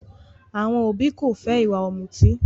Àwọn òbí ko fẹ ìwà ọ̀mùtí.